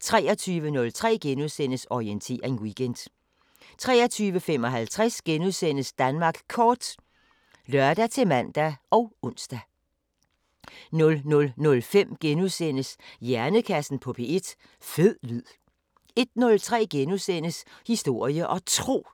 * 23:03: Orientering Weekend * 23:55: Danmark Kort *(lør-man og ons) 00:05: Hjernekassen på P1: Fed lyd * 01:03: Historie og Tro